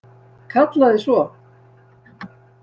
Kallaði svo: